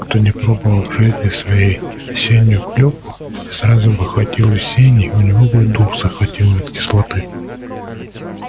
кто не пробовал в жизни своей осеннюю клюкву и сразу бы хватил весенней у него бы дух захватило от кислоты